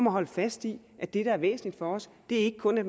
at holde fast i at det der er væsentligt for os ikke kun er